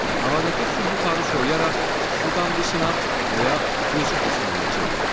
Havadakı su buxarı soyuyaraq su damcısına və ya buz kristalına çevrilir.